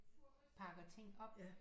Pakker ting op